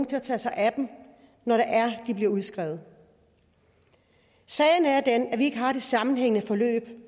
tage sig af dem når de bliver udskrevet sagen er den at vi ikke har et sammenhængende forløb